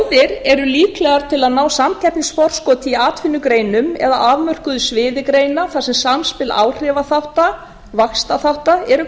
þjóðir eru líklegar til að ná samkeppnisforskoti í atvinnugreinum eða afmörkuðu sviði greina þar sem samspil áhrifaþátta og vaxtarþátta eru